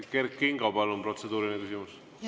Kert Kingo, palun, protseduuriline küsimus!